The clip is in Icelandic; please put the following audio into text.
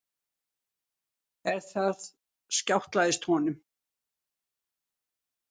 En þar skjátlaðist honum.